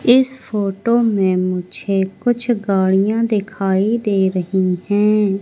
इस फोटो में मुझे कुछ गाड़ियां दिखाई दे रही हैं।